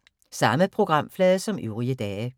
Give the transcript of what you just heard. Samme programflade som øvrige dage